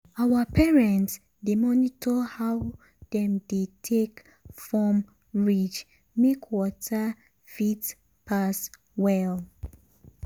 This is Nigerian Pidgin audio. um our parents dey monitor how dem dey take form ridge make water fit um pass um well.